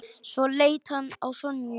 Svo leit hann á Sonju.